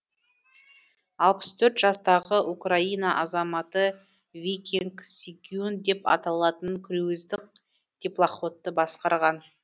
алпыс төрт жастағы украина азаматы викинг сигюн деп аталатын круиздік теплоходты басқарған